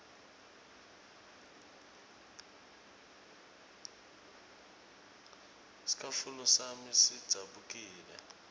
scatfulo sami sidzabukile